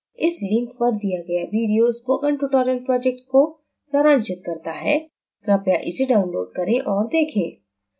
इस लिंक पर दिया गया वीडियो स्पोकन ट्यूटोरियल प्रोजेक्ट को सारांशित करता है कृपया इसे डाउनलोड करें और देखें